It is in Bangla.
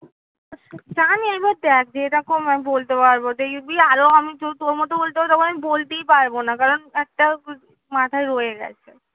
এবার দেখ যেরকম আমি বলতে পারবো আরো আমি তোর মতো বলতে পারি তখন আমি বলতেই পারবো না কারণ একটা মাথায় রয়ে গেছে